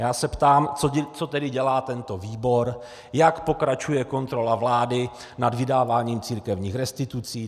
Já se ptám, co tedy dělá tento výbor, jak pokračuje kontrola vlády nad vydáváním církevních restitucí.